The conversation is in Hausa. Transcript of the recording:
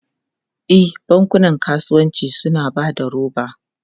E, bankunan kasuwanci suna ba da roba.